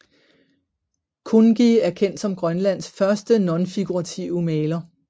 Kunngi er kendt som Grønlands første nonfigurative maler